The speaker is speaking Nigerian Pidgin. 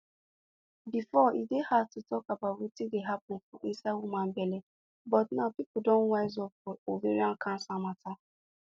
befor e dey hard to talk about wetin dey happun for inside woman belle but now pipo don wise up for ovarian cancer mata